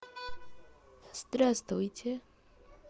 здравствуйте